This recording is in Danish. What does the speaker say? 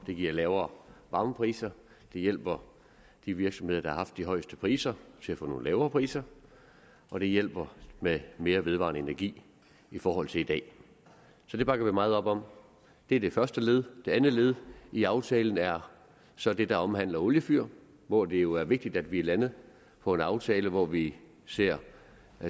det giver lavere varmepriser det hjælper de virksomheder der har haft de højeste priser til at få nogle lavere priser og det hjælper med mere vedvarende energi i forhold til i dag det bakker vi meget op om det er det første led det andet led i aftalen er så det der omhandler oliefyr hvor det jo er vigtigt at vi er landet på en aftale hvor vi ser